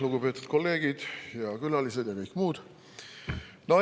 Lugupeetud kolleegid ja külalised ja kõik muud!